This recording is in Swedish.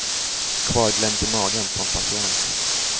Kvarglömt i magen på en patient.